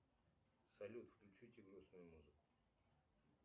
салют включите грустную музыку